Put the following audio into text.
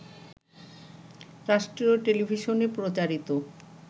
রাষ্ট্রীয় টেলিভিশনে প্রচারিত